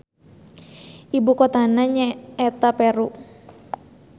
Ibu kotana nya eta Peru